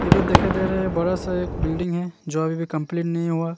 ये जो दिखाई दे रहा है एक बड़ा सा बिल्डिंग जो अभी भी कम्पलीट नहीं हुआ।